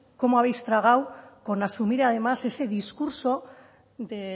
cómo habéis tragado con asumida además ese discurso de